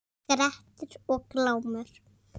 Grettir og Glámur